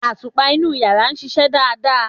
Àtùpá inu yara sìsẹ̀ dádá